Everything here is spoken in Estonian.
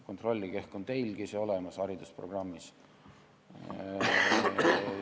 Kontrollige, ehk on teilgi see haridusprogrammis olemas.